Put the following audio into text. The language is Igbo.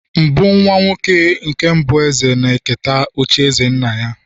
mbụ nwa-nwoke nke mbụ eze na-eketa ocha eze nna-ya